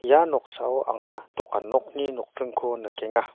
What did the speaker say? ia noksao anga dokan nokni nokdringko nikenga.